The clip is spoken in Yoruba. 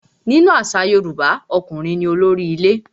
Nínú àṣà Yorùbá, ọkùnrin ní olórí ilé.